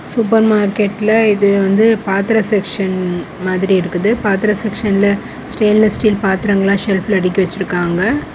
Super மார்க்கெட்ல இது வந்து பாத்திர செக்சன் மாதிரி இருக்குது பாத்திர செக்க்ஷன்ல ஸ்டெயின்லெஸ் ஸ்டீல் செல்ஃப்ல அடக்கி வச்சிருக்காங்க.